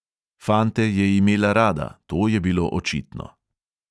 Fante je imela rada, to je bilo očitno.